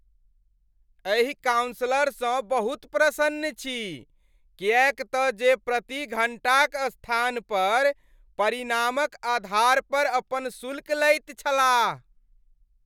एहि काउन्सलरक सँ बहुत प्रसन्न छी किएक त जे प्रति घण्टाक स्थान पर परिणामक आधार पर अपन शुल्क लैत छलाह।